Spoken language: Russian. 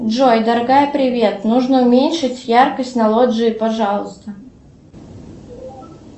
джой дорогая привет нужно уменьшить яркость на лоджии пожалуйста